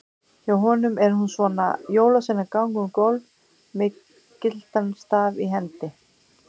Hjá honum er hún svona: Jólasveinar ganga um gólf með gyltan staf í hendi.